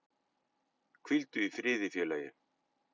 Hvíldu í friði félagi